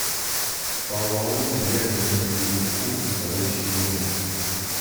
фоллаут ядерный перекур второй сезон